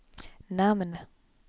namn